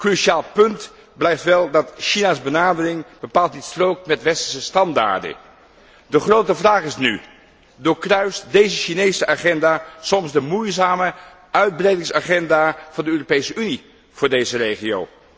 Cruciaal punt blijft wel dat de benadering van China bepaald niet strookt met westerse standaarden. De grote vraag is nu doorkruist deze Chinese agenda soms de moeizame uitbreidingsagenda van de Europese Unie voor deze regio?